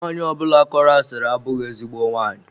Nwanyi ọbụla kọrọ asiri abụghị ezigbo nwaanyị.